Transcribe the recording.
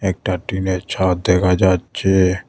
একটা টিনের ছাদ দেখা যাচ্ছে।